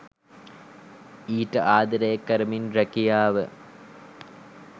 ඊට ආදරය කරමින් රැකියාව